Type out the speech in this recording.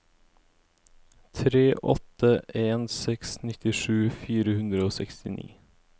tre åtte en seks nittisju fire hundre og sekstini